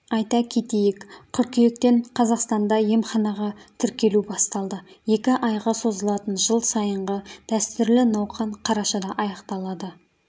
айта кетейік қыркүйектен қазақстанда емханаға тіркелу басталды екі айға созылатын жыл сайынғы дәстүрлі науқан қарашада аяқталады